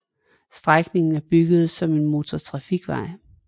Strækningen er bygget som en motortrafikvej